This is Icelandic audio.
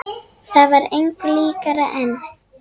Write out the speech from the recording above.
Það var engu líkara en.